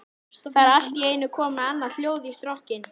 Það er allt í einu komið annað hljóð í strokkinn.